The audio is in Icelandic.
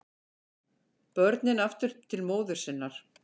Börnin aftur til móður sinnar